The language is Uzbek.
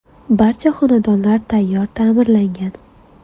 Barcha xonadonlar tayyor ta’mirlangan.